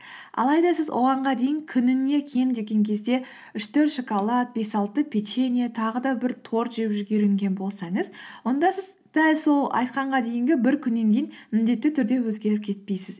алайда сіз оғанға дейін күніне кем деген кезде үш төрт шоколад бес алты печенье тағы да бір торт жеп жүріп үйренген болсаңыз онда сіз дәл сол айтқанға дейінгі бір күннен кейін міндетті түрде өзгеріп кетпейсіз